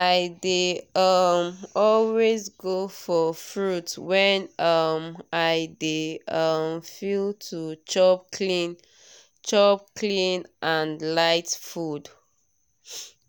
i dey um always go for fruit when um i dey um feel to chop clean chop clean and light food.